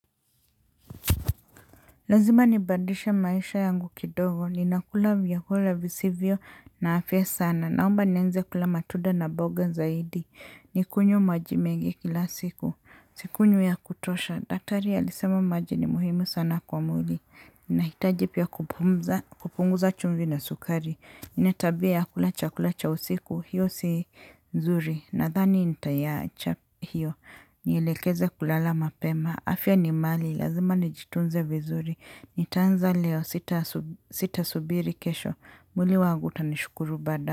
Lazima nipadishe maisha yangu kidogo. Ninakula vyakula visivyo na afya sana. Naomba nianze kula matunda na mboga zaidi. Nikunywe maji mengi kila siku. Sikunyu ya kutosha. Daktari alisema maji ni muhimu sana kwa mwili. Nahitaji pia kupunguza chumvi na sukari. Nina tabia ya kula chakula cha usiku. Hiyo si nzuri. Nadhani nita iyacha hiyo. Nielekeze kulala mapema. Afya ni mali, lazima nijitunze vizuri. Nitaanza leo, sitasubiri kesho mwili wangu utanishukuru bada.